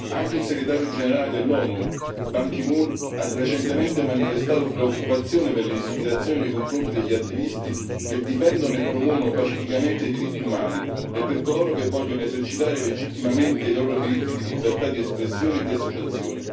Anche il segretario generale dell'ONU Ban Ki Moon ha recentemente manifestato preoccupazione per l'intimidazione nei confronti degli attivisti, che difendono e promuovono pacificamente i diritti umani e per coloro che vogliono esercitare legittimamente i loro diritti di libertà di espressione e di associazione.